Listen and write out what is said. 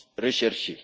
recherchée.